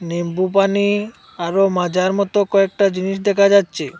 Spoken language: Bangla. নিমবুপানি আরো মাজার মতো কয়েকটা জিনিস দেখা যাচ্ছে।